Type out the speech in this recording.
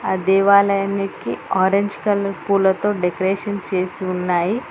ఆ దేవాలయానికి orange colour పూలతో డెకరేషన్ చేసి ఉన్నాయి.